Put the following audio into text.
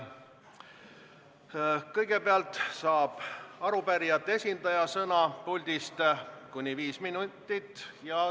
Kõigepealt saab arupärijate esindaja sõna kuni viieks minutiks.